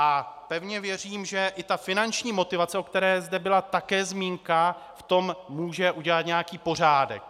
A pevně věřím, že i ta finanční motivace, o které zde byla také zmínka, v tom může udělat nějaký pořádek.